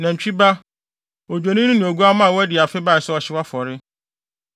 nantwi ba, odwennini ne oguamma a wadi afe bae sɛ ɔhyew afɔre,